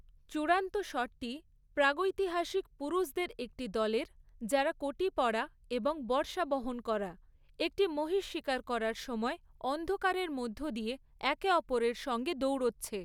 চূড়ান্ত শটটি প্রাগৈতিহাসিক পুরুষদের একটি দলের, যারা কটি পরা এবং বর্শা বহন করা, একটি মহিষ শিকার করার সময় অন্ধকারের মধ্য দিয়ে একে অপরের সঙ্গে দৌড়চ্ছে।